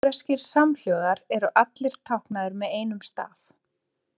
Hebreskir samhljóðar eru allir táknaðir með einum staf.